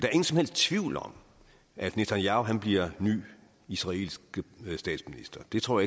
er ingen som helst tvivl om at netanyahu bliver ny israelsk statsminister det tror